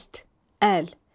Dəst, əl.